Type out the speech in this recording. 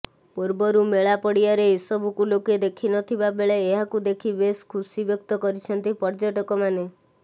ପୂର୍ବରୁ ମେଳା ପଡିଆରେ ଏସବୁକୁ ଲୋକେ ଦେଖିନଥିବା ବେଳେ ଏହାକୁ ଦେଖି ବେଶ ଖୁସି ବ୍ୟକ୍ତ କରିଛନ୍ତି ପର୍ଯ୍ୟଟକମାନେ